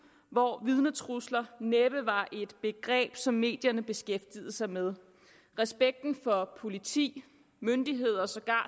hvor vidnetrusler næppe var et begreb som medierne beskæftigede sig med respekten for politi myndigheder og sågar